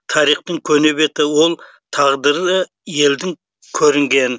тарихтың көне беті ол тағдыры елдің көрінген